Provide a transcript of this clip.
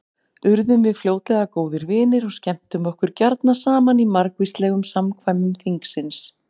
Urðum við fljótlega góðir vinir og skemmtum okkur gjarna saman í margvíslegum samkvæmum þingsins.